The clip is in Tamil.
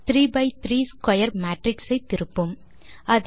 three by three square matrix ஐ திருப்பும்